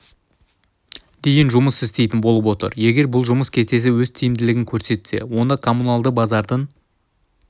дейін жұмыс істейтін болып отыр егер бұл жұмыс кестесі өз тиімділігін көрсетсе онда коммуналды базардың